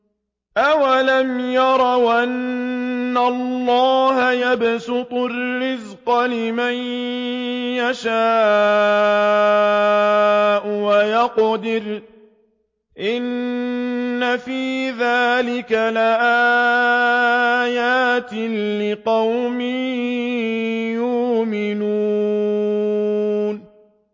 أَوَلَمْ يَرَوْا أَنَّ اللَّهَ يَبْسُطُ الرِّزْقَ لِمَن يَشَاءُ وَيَقْدِرُ ۚ إِنَّ فِي ذَٰلِكَ لَآيَاتٍ لِّقَوْمٍ يُؤْمِنُونَ